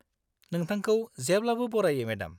नोंथांखौ जेब्लाबो बरायो मेडाम।